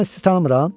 Mən sizi tanımıram?